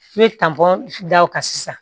I bɛ da o kan sisan